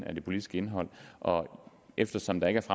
af det politiske indhold og eftersom der ikke